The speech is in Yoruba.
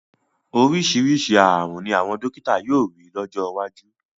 Oríṣiríṣi ààrùn ni àwọn dọ́kítà yóò rí lọ́jọ́ iwájú.